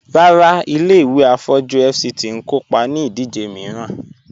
Ràrà, ilẹ̀-ìwé afọ̀jú FCT n kòpá ní ìdíjè miìràn